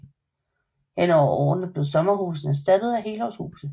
Hen over årene blev sommerhusene erstattet af helårshuse